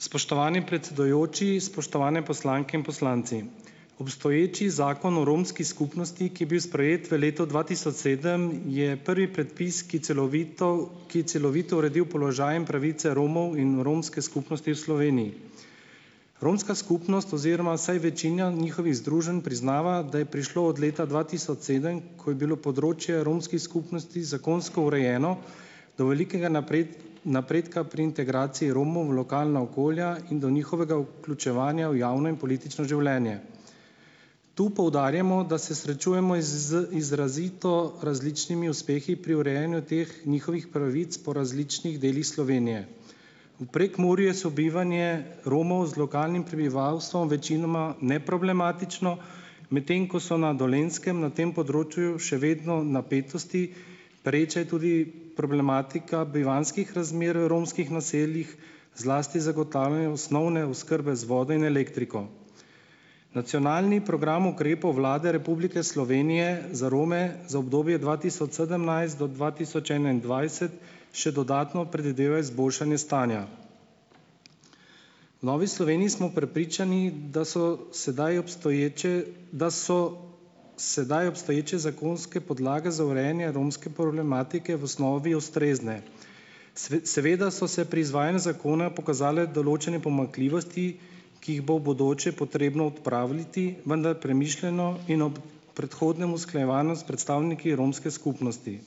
Spoštovani predsedujoči, spoštovane poslanke in poslanci! Obstoječi Zakon o romski skupnosti, ki je bil sprejet v letu dva tisoč sedem, je prvi predpis, ki celovito ki je celovito uredil položaj in pravice Romov in romske skupnosti v Sloveniji. Romska skupnost oziroma vsaj večina njihovih združenj priznava, da je prišlo od leta dva tisoč sedem, ko je bilo področje romskih skupnosti zakonsko urejeno, do velikega naprej napredka pri integraciji Romov v lokalna okolja in do njihovega vključevanja v javno in politično življenje. Tu poudarjamo, da se srečujemo iz z izrazito različnimi uspehi pri urejanju teh njihovih pravic po različnih delih Slovenije. V Prekmurju je sobivanje Romov z lokalnim prebivalstvom večinoma neproblematično, medtem ko so na Dolenjskem na tem področju še vedno napetosti, pereča je tudi problematika bivanjskih razmer v romskih naseljih, zlasti zagotavljanje osnovne oskrbe z vodo in elektriko. Nacionalni program ukrepov Vlade Republike Slovenije za Rome za obdobje dva tisoč sedemnajst do dva tisoč enaindvajset še dodatno predvideva izboljšanje stanja. V Novi Sloveniji smo prepričani, da so sedaj obstoječe, da so sedaj obstoječe zakonske podlage za urejanje romske problematike v osnovi ustrezne. seveda so se pri izvajanju zakona pokazale določene pomanjkljivosti, ki jih bo v bodoče potrebno odpraviti, vendar premišljeno in ob predhodnem usklajevanju s predstavniki romske skupnosti.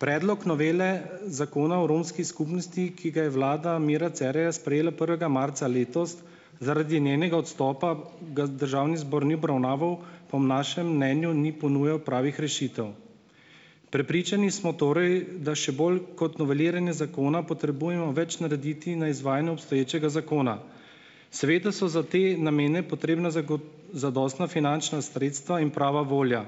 Predlog novele Zakona o romski skupnosti, ki ga je vlada Mira Cerarja sprejela prvega marca letos, zaradi njenega odstopa ga državni zbor ni obravnaval, po našem mnenju ni ponujal pravih rešitev. Prepričani smo torej, da še bolj kot noveliranje zakona potrebujemo več narediti na izvajanju obstoječega zakona, seveda so za te namene potrebna zadostna finančna sredstva in prava volja.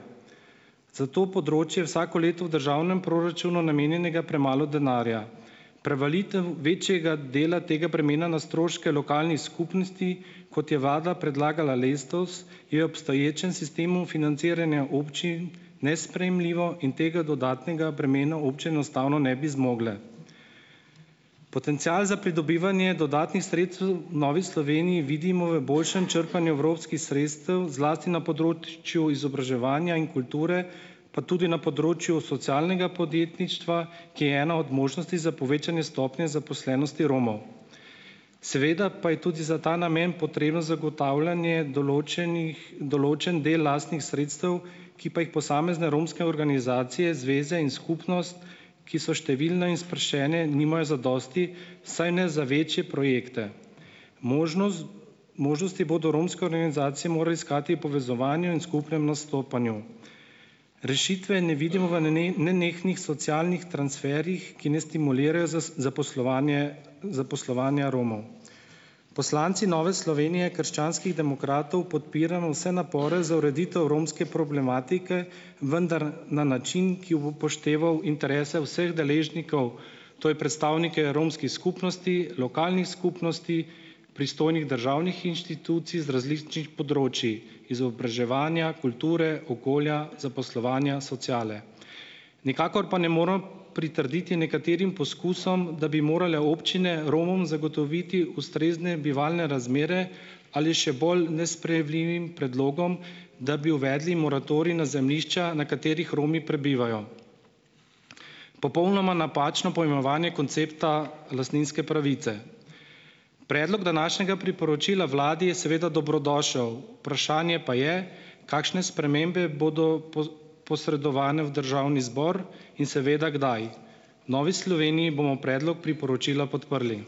Za to področje vsako leto v državnem proračunu namenjenega premalo denarja. Prevalitev večjega dela tega bremena na stroške lokalnih skupnosti kot je vlada predlagala letos, je obstoječem sistemu financiranja občin nesprejemljivo in tega dodatnega bremena občine enostavno ne bi zmogle. Potencial za pridobivanje dodatnih sredstev v Novi Sloveniji vidimo v boljšem črpanju evropskih sredstev zlasti na področju izobraževanja in kulture, pa tudi na področju socialnega podjetništva, ki je ena od možnosti za povečanje stopnje zaposlenosti Romov. Seveda pa je tudi za ta namen potrebno zagotavljanje določenih določen del lastnih sredstev, ki pa jih posamezne romske organizacije, zveze in skupnost, ki so številne in sproščene, nimajo zadosti, vsaj ne za večje projekte. Možnost ... Možnosti bodo romske organizacije mora iskati v povezovanju in skupnem nastopanju. Rešitve ne vidimo v ne nenehnih socialnih transferjih, ki ne stimulirajo zaposlovanje zaposlovanja Romov. Poslanci Nove Slovenije - krščanskih demokratov podpiramo vse napore za ureditev romske problematike, vendar na način, ki bo upošteval interese vseh deležnikov, to je predstavnike romskih skupnosti, lokalnih skupnosti, pristojnih državnih inštitucij z različnih področij, izobraževanja, kulture, okolja, zaposlovanja, sociale. Nikakor pa ne more pritrditi nekaterim poskusom, da bi morale občine Romom zagotoviti ustrezne bivalne razmere, ali še bolj nesprejemljivim predlogom, da bi uvedli moratorij na zemljišča, na katerih Romi prebivajo. Popolnoma napačno poimenovanje koncepta lastninske pravice. Predlog današnjega priporočila vladi je seveda dobrodošel, vprašanje pa je, kakšne spremembe bodo posredovane v državni zbor in seveda kdaj. V Novi Sloveniji bomo predlog priporočila podprli.